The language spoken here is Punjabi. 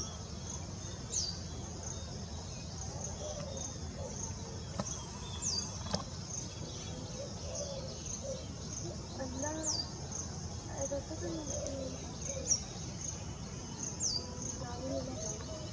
ਠੀਕ ਐ ਤੇ ਤੇ ਅੱਲਾ ਐ ਦੱਸ ਸਕਦੇ ਹੋ ਕੀ ਜੋ